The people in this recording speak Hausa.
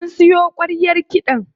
An siyo ƙwaryar kiɗan.